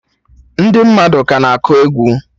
Ndị mmadụ ka na akụ ekwe